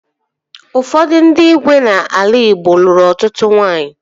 Ụfọdụ ndị igwe n'ala Igbo lụrụ ọtụtụ nwaanyị